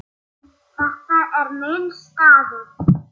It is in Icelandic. Þetta er minn staður.